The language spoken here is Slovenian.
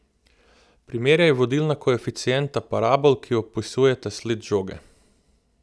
Primerjaj vodilna koeficienta parabol, ki opisujeta sled žoge.